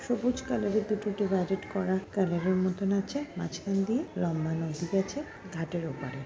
সবুজ কালার -এর দুটো ডিভাইডেড করা মতন আছে মাঝখান দিয়ে লম্বা নদী গেছে ঘাটের ওপারে--